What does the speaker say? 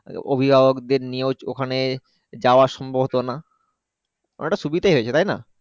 অভিভাবকদের নিয়েও ওখানে যাওয়া সম্ভব হত না অনেকটা সুবিধা হয়েছে তাই না।